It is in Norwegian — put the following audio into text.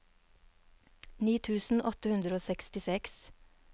ni tusen åtte hundre og sekstiseks